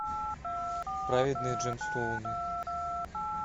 праведные джемстоуны